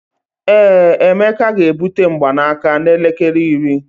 ee, emeka ga-ebute mgbanaka n'elekere iri